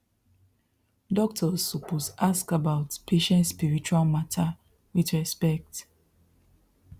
doctors suppose ask about patient spiritual matter with respect